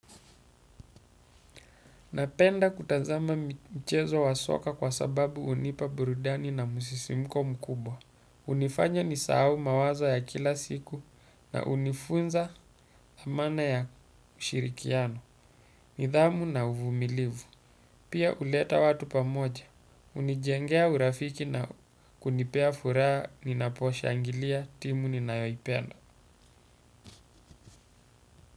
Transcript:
Napenda kutazama mchezo wa soka kwa sababu hunipa burudani na musisimuko mkubwa. Hunifanya nisahau mawazo ya kila siku na hunifunza thamana ya ushirikiano. Nidhamu na uvumilivu pia uleta watu pamoja. Hunijengea urafiki na kunipea furaha ninaposhangilia timu ninayoipenda.